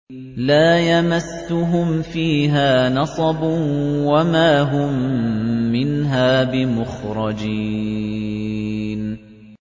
لَا يَمَسُّهُمْ فِيهَا نَصَبٌ وَمَا هُم مِّنْهَا بِمُخْرَجِينَ